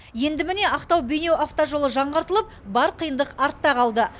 енді міне ақтау бейнеу автожолы жаңғыртылып бар қиындық артта қалды